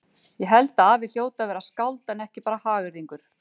Ég held að afi hljóti að vera skáld en ekki bara hagyrðingur.